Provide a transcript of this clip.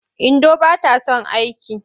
Indo ba ta son aiki.